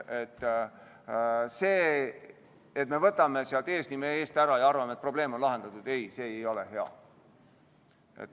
See, et me võtame eesnime eest ära ja arvame, et probleem on lahendatud – ei, see ei ole hea.